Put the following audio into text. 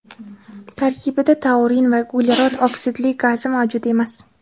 Tarkibida taurin va uglerod oksidli gazi mavjud emas.